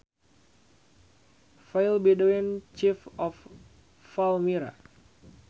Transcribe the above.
File Bedouin Chief of Palmyra